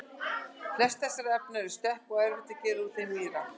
flest þessara efna eru stökk og erfitt að gera úr þeim víra